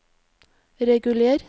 reguler